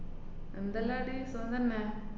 എന്തെല്ലാടീ സുഖം തന്നെ?